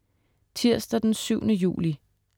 Tirsdag den 7. juli